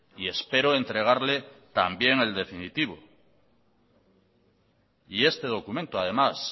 y espero entregarle también el definitivo este documento además